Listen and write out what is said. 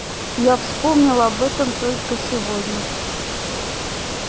я вспомнил об этом только сегодня